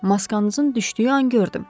Maskanızın düşdüyü an gördüm.